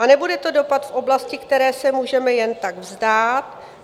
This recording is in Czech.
A nebude to dopad v oblasti, které se můžeme jen tak vzdát.